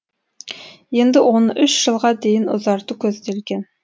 енді оны үш жылға дейін ұзарту көзделген